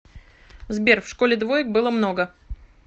сбер в школе двоек было много